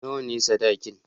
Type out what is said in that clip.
Nawa ne sadakin?